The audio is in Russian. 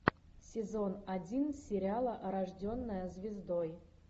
сезон один сериала рожденная звездой